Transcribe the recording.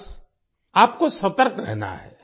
बस आपको सतर्क रहना है